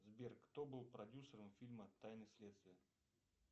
сбер кто был продюсером фильма тайны следствия